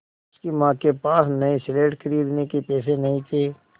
उसकी माँ के पास नई स्लेट खरीदने के पैसे नहीं थे